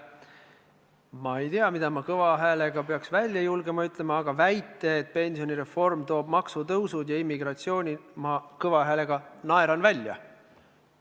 Ma ei tea, mida ma peaksin kõva häälega välja öelda julgema, aga selle väite, et pensionireform toob kaasa maksutõusu ja immigratsiooni, naeran ma kõva häälega välja.